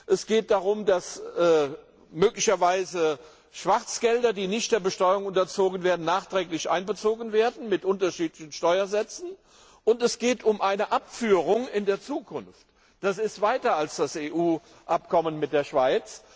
Es geht darum, dass möglicherweise Schwarzgelder, die nicht der Besteuerung unterzogen werden, nachträglich mit unterschiedlichen Steuersätzen einbezogen werden. Und es geht um eine Abführung in der Zukunft. Das geht weiter als das EU Abkommen mit der